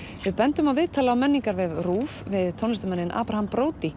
við bendum á viðtalið á menningarvef RÚV við tónlistarmanninn Abraham